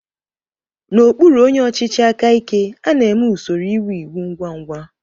N'okpụrụ onyé ọchịchị áká íké, a na-èmé usoro íwú ịwú ngwa ngwa.